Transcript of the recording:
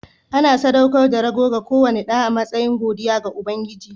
Ana sadaukar da rago ga kowane ɗa a matsayin godiya ga Ubangiji.